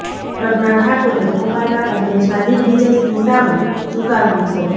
પ્રજ્ઞા ઠાકુરે ભોપાલમાં કોંગ્રેસના દિગ્વિજય સિંહ સામે ઝુકાવ્યું છે